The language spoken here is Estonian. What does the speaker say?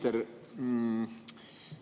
Härra minister!